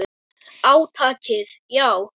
Átakið, já.